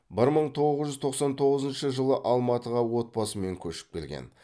бір мың тоғыз жуз тоқсан тоғызыншы жылы алматыға отбасымен көшіп келген